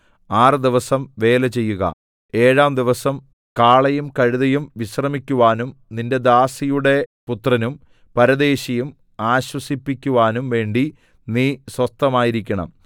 ആറ് ദിവസം വേല ചെയ്യുക ഏഴാം ദിവസം നിന്റെ കാളയും കഴുതയും വിശ്രമിക്കുവാനും നിന്റെ ദാസിയുടെ പുത്രനും പരദേശിയും ആശ്വസിപ്പിക്കുവാനും വേണ്ടി നീ സ്വസ്ഥമായിരിക്കണം